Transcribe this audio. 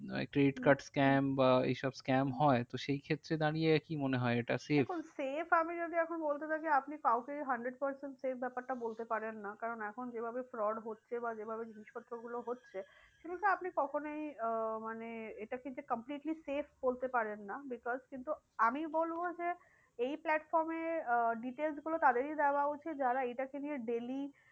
আপনি কখনই আহ মানে এটাকে যে completely save বলতে পারেন না because কিন্তু আমি বলবো যে এই platform এ আহ details গুলো তাদেরই দেওয়া উচিত যারা এইটাকে নিয়ে daily